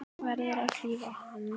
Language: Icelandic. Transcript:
Verður að klífa hann.